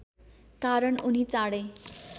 कारण उनी चाँडै